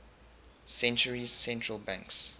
centuries central banks